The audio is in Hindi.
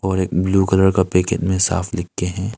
और एक ब्लू कलर का पैकेट में साफ लिख के है।